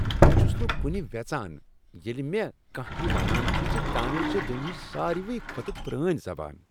بہٕ چھس نہٕ کنہ ویژان ییٚلہ مےٚ کانٛہہ یہ ونان چھ ز تامل چھےٚ دنیاہٕچ ساروٕے کھۄتہٕ پرٲنۍ زبان۔